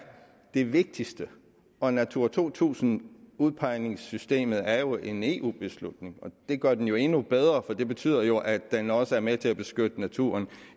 det vigtigste og natura to tusind udpegningssystemet er jo en eu beslutning det gør den jo endnu bedre for det betyder jo at den også er med til at beskytte naturen